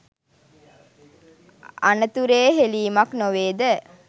අනතුරේ හෙලීමක් නොවේ ද?